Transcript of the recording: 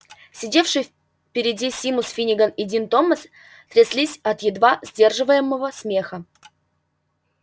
сидевшие впереди симус финниган и дин томас тряслись от едва сдерживаемого смеха